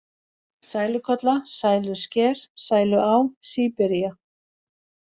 Sælukolla, Sælusker, Sæluá, Síbiría